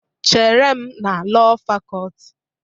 Chere m na Lọọ Fakọlti.